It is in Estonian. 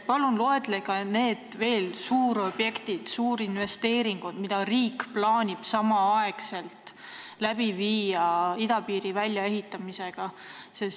Palun loetlege suurobjektid, suurinvesteeringud, mida riik plaanib teostada samal ajal idapiiri väljaehitamisega.